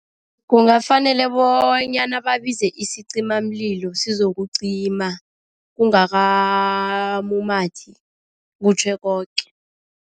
Kungafanele bonyana babize isizimamlilo sizokucima, kungakamumathi kutjhe koke.